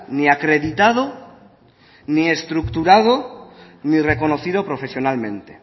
ni acreditado ni estructurado ni reconocido profesionalmente